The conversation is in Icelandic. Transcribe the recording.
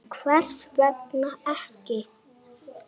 En hvers vegna ekki?